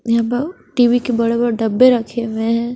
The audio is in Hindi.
यहां प टी_वी के बड़ा बड़ा डब्बे रखे हुए हैं।